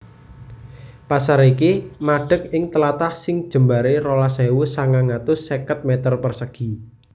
Pasar iki madeg ing tlatah sing jembaré rolas ewu sangang atus seket meter persegi